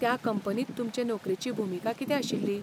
त्या कंपनींत तुमचे नोकरेची भुमिका कितें आशिल्ली?